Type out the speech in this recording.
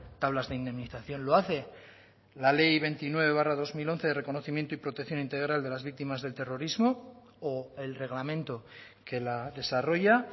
tablas de indemnización lo hace la ley veintinueve barra dos mil once de reconocimiento y protección integral de las víctimas del terrorismo o el reglamento que la desarrolla